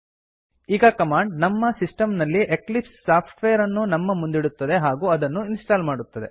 ಈ ಕಮಾಂಡ್ ನಮ್ಮ ಸಿಸ್ಟಮ್ ನಲ್ಲಿ ಎಕ್ಲಿಪ್ಸ್ ಸಾಫ್ಟ್ವೇರ್ ಅನ್ನು ನಮ್ಮ ಮುಂದಿಡುತ್ತದೆ ಹಾಗೂ ಅದನ್ನು ಇನ್ಸ್ಟಾಲ್ ಮಾಡುತ್ತದೆ